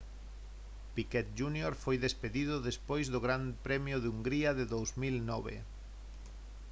piquet jr foi despedido despois do gran premio de hungría de 2009